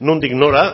nondik nora